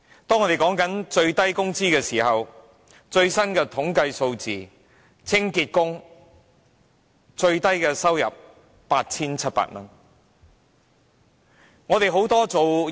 當我們談到最低工資時，最新的統計數字顯示清潔工人的收入最低是 8,700 元。